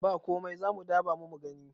ba komai za mu dabamu gani